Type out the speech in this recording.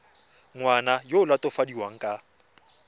ngwana yo o latofadiwang ka